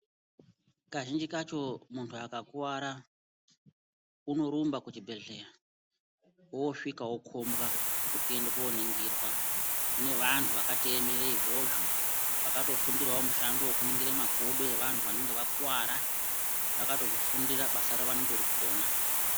Kazhinji kacho muntu akakuvara unorumba kuchibhehleya, oosvika opombwa nekuende kooningirwa. Kune vantu vakatoemere izvozvo vakatofundirawo mushando wokuningira makodo evantu vanenge vakuvara. Vakazvifundira, basa ravo vanotorigona.